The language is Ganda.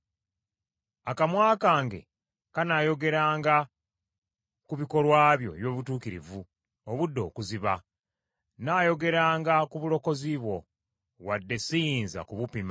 Akamwa kange kanaayogeranga ku bikolwa byo eby’obutuukirivu obudde okuziba; nnaayogeranga ku bulokozi bwo, wadde siyinza kubupima.